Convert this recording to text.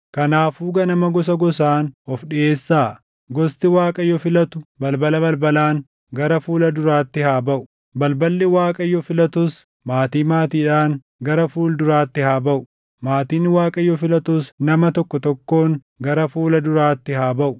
“ ‘Kanaafuu ganama gosa gosaan ofi dhiʼeessaa. Gosti Waaqayyo filatu balbala balbalaan gara fuula duraatti haa baʼu; balballi Waaqayyo filatus maatii maatiidhaan gara fuula duraatti haa baʼu; maatiin Waaqayyo filatus nama tokko tokkoon gara fuula duraatti haa baʼu.